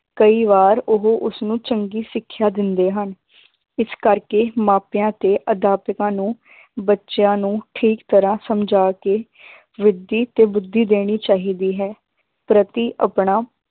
ਕਈ ਵਾਰ ਉਹ ਉਸਨੂੰ ਚੰਗੀ ਸਿੱਖਿਆ ਦਿੰਦੇ ਹਨ ਇਸ ਕਰਕੇ ਮਾਪਿਆਂ ਤੇ ਅਧਿਆਪਕਾਂ ਨੂੰ ਬੱਚਿਆਂ ਨੂੰ ਠੀਕ ਤਰ੍ਹਾਂ ਸਮਝਾ ਕੇ ਬੁੱਧੀ ਤੋਂ ਬੁੱਧੀ ਦੇਣੀ ਚਾਹੀਦੀ ਹੈ, ਪ੍ਰਤੀ ਆਪਣਾ